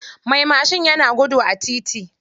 Mai mashin yana gudu a titi.